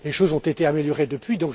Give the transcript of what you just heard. Les choses ont été améliorées depuis.